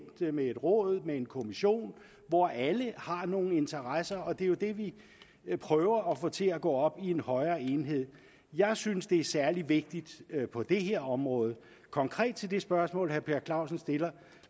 med et råd med en kommission hvor alle har nogle interesser og det er jo det vi prøver at få til at gå op i en højere enhed jeg synes det er særlig vigtigt på det her område konkret til det spørgsmål herre per clausen stiller